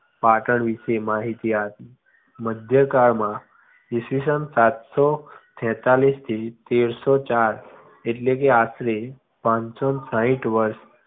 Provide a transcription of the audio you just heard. પાટણ વિશે માહિતી મધ્યકાળમાં ઈસવીસન સાતસો છેંતાલીસ થી તેરસો ચાર એટલે કે આસરે પાંચસો ને સાહીઠ વર્ષ